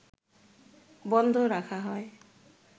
বন্ধ রাখা হয়